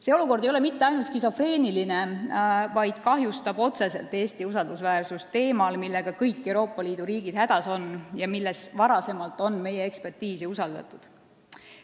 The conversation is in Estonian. See olukord ei ole mitte ainult skisofreeniline, vaid kahjustab otseselt Eesti usaldusväärsust teemal, millega kõik Euroopa Liidu riigid hädas on ja mille puhul on varem meie ekspertiisi usaldatud.